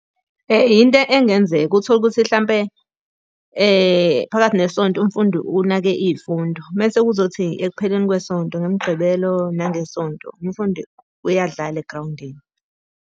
Yinto engenzeka, uthole ukuthi hlampe phakathi nesonto umfundi unake iy'fundo, mese kuzothi ekupheleni kwesonto ngeMigqibelo nangeSonto umfundi uyadlala egrawundini.